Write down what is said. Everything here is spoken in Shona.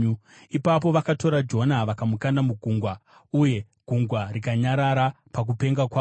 Ipapo vakatora Jona vakamukanda mugungwa, uye gungwa rikanyarara pakupenga kwaro.